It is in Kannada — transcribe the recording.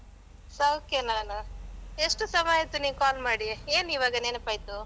ಸೌಖ್ಯ ನಾನು. ಎಷ್ಟು ಸಮಯ ಆಯ್ತು ನೀನ್ call ಮಾಡಿ? ಏನ್ ಇವಾಗ ನೆನಪಾಯ್ತು?